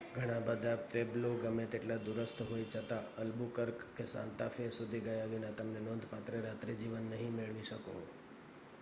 ઘણાં બધાં પ્વેબ્લો ગમે તેટલાં દૂરસ્થ હોય છતાં અલ્બુકર્ક કે સાન્તા ફે સુધી ગયા વિના તમે નોંધપાત્ર રાત્રિજીવન નહીં મેળવી શકો